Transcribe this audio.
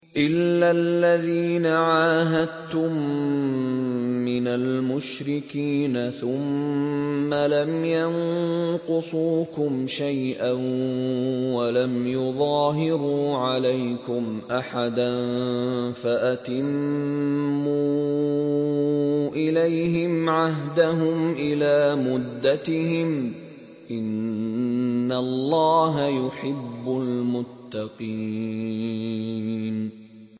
إِلَّا الَّذِينَ عَاهَدتُّم مِّنَ الْمُشْرِكِينَ ثُمَّ لَمْ يَنقُصُوكُمْ شَيْئًا وَلَمْ يُظَاهِرُوا عَلَيْكُمْ أَحَدًا فَأَتِمُّوا إِلَيْهِمْ عَهْدَهُمْ إِلَىٰ مُدَّتِهِمْ ۚ إِنَّ اللَّهَ يُحِبُّ الْمُتَّقِينَ